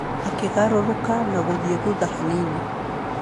Akĩgarũrũka na gũthiĩ thutha hanini.